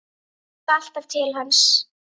Ég hugsa alltaf til hans.